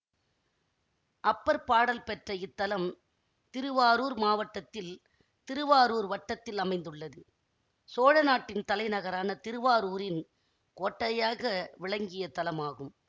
அப்பர் பாடல் பெற்ற இத்தலம் திருவாரூர் மாவட்டத்தில் திருவாரூர் வட்டத்தில் அமைந்துள்ளது சோழநாட்டின் தலைநகரான திருவாரூரின் கோட்டையாக விளங்கிய தலமாகும்